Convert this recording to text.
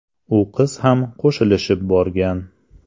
U qiz ham qo‘shilishib borgan.